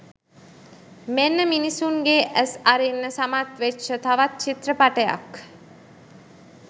මෙන්න මිනිස්සුන්ගේ ඇස් අරින්න සමත් වෙච්ච තවත් චිත්‍රපටයක්